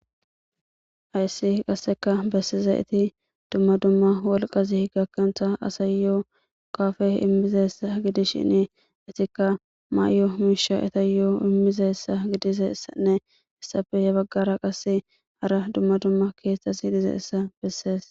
Hayssi qasseka bessize iti dumma dumma wolqazi gakkanta asayyoo kafe immizeessa gidishini itikka maayyo miisha etayyoo immizessa gidisessanne issafe ye baggara qase hara dumma dumma keeththas hidizeessa bessees.